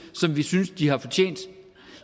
som vi synes de har fortjent